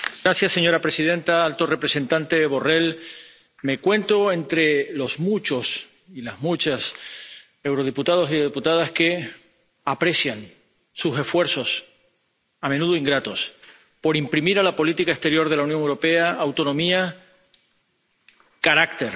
Señora presidenta, alto representante Borrell, me cuento entre los muchos y las muchas eurodiputados y eurodiputadas que aprecian sus esfuerzos, a menudo ingratos, por imprimir a la política exterior de la Unión Europea autonomía, carácter